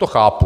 To chápu.